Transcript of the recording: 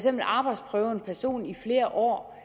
at arbejdsprøve en person i flere år